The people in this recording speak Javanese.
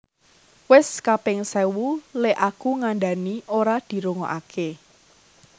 Wes kaping sewu lek aku ngandhani ora dirungoake